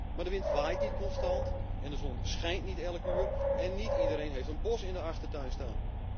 Maar de wind waait niet constant, de zon schijnt niet altijd en niet iedereen heeft een bos in de achtertuin staan.